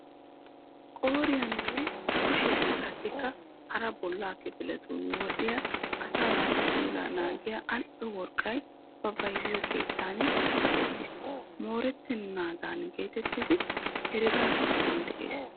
Qooriyaninne kushiyan qassikka hara bollaa kifiliyan wodhdhidi asaa naatu puulaa naagiya al"o worqqay ba bayzettiyo keettan kaqettiis. Moorettennaadan getettidi herega giddon de'es.